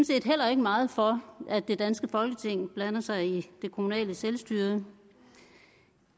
set heller ikke meget for at det danske folketing blander sig i det kommunale selvstyre